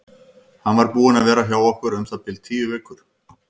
Hann var búinn að vera hjá okkur um það bil tíu vikur.